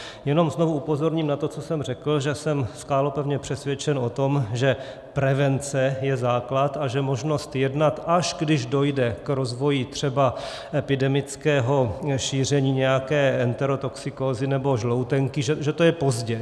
Jenom znovu upozorním na to, co jsem řekl, že jsem skálopevně přesvědčen o tom, že prevence je základ a že možnost jednat, až když dojde k rozvoji třeba epidemického šíření nějaké enterotoxikózy nebo žloutenky, že to je pozdě.